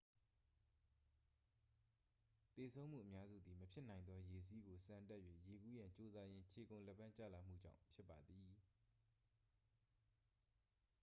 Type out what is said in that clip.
သေဆုံးမှုအများစုသည် မဖြစ်နိုင်သော ရေစီးကိုဆန်တက်၍ရေကူးရန်ကြိုးစားရင်း ခြေကုန်လက်ပမ်းကျလာမှုကြောင့် ဖြစ်ပါသည်